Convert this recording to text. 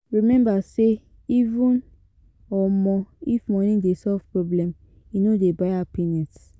Remember sey even um if money dey solve problem e no dey buy happiness